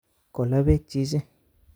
Kola bek chichi